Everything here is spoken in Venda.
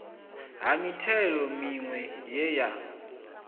ha mithelo miwe ye ya